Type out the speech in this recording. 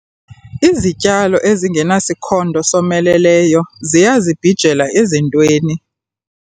Izityalo ezingenasikhondo someleleyo ziyazibhijela ezintweni.